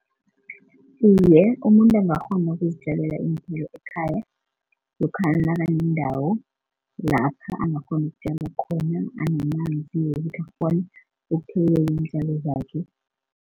Iye, umuntu angakghona ukuzitjalela iinthelo ekhaya lokhana nakanendawo lapha angakghona ukutjala khona anamanzi wokuthi akghone ukuthelelela iintjalo zakhe.